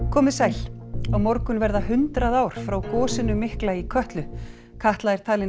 komiði sæl á morgun verða hundrað ár frá gosinu mikla í Kötlu Katla er talin